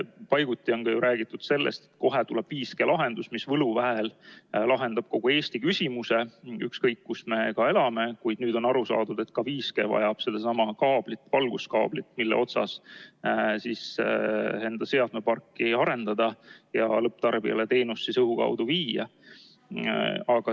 Paiguti on ka ju räägitud sellest, et kohe tuleb 5G-lahendus, mis võluväel lahendab kogu Eesti küsimuse, ükskõik kus me ka elame, kuid nüüd on aru saadud, et ka 5G vajab sedasama kaablit, valguskaablit, mille otsas enda seadmeparki arendada ja lõpptarbijale õhu kaudu teenust viia.